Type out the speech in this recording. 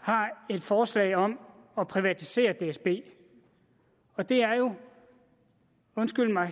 har et forslag om at privatisere dsb og det er jo undskyld mig